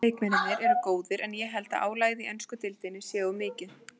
Ensku leikmennirnir eru góðir en ég held að álagið í ensku deildinni sé of mikið.